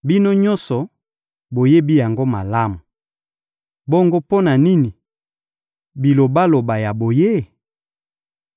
Bino nyonso, boyebi yango malamu! Bongo mpo na nini bilobaloba ya boye?